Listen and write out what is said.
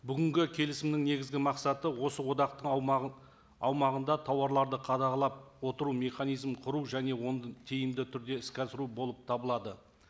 бүгінгі келісімнің негізгі мақсаты осы одақтың аумағын аумағында тауарларды қадағалап отыру механизмін құру және оны тиімді түрде іске асыру болып табылады